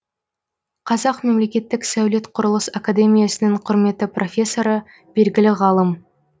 қазақ мемлекеттік сәулет құрылыс академиясының құрметті профессоры белгілі ғалым